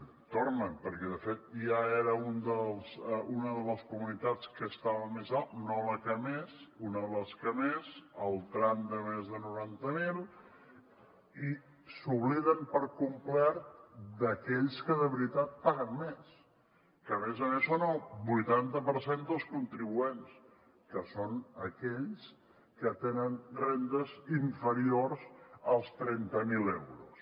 tornen perquè de fet ja era una de les comunitats que estava més alt no la que més una de les que més el tram de més de noranta mil i s’obliden per complet d’aquells que de veritat paguen més que a més a més són el vuitanta per cent dels contribuents que són aquells que tenen rendes inferiors als trenta mil euros